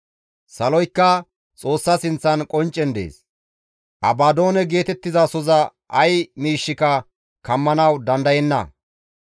Si7ooleykka Xoossa sinththan qonccen dees; Abadoone geetettizasoza ay miishshika kammanawu dandayenna.